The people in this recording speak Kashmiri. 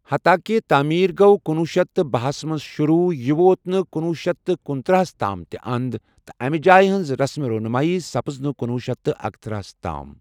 حتاكہِ تعمیٖر گو٘ کُنۄہ شیتھ تہٕ باہ ہس منٛز شُروٗع، یہِ ووت نہٕ کُنۄہ شیتھ تہٕ کنتٔرہ ہس تام تہِ اند ، تہٕ امہ جایہ ہنز رسم رونمٲیی سپز نہٕ کُنۄہ شیتھ تہٕ اکتٔرِہ ہس تام ۔